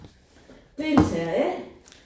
Det taler A